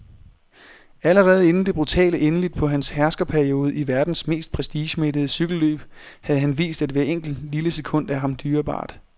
Allerede inden det brutale endeligt på hans herskerperiode i verdens mest prestigemættede cykelløb havde han vist, at hvert enkelt, lille sekund er ham dyrebart.